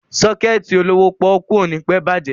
Sọ́kẹ̀tì olówó pọ́ọ́kú ò ní pẹ́ bàjẹ́.